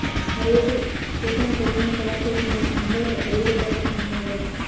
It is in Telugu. మరోవైపు శివసేన ప్రభుత్వాన్ని సవాల్ చేసి మరీ ముంబైలో అడుగు పెట్టారు కంగనా రనౌత్